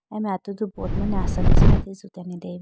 aye mai atudu board ma assamese ma atage jutene deyayi bo.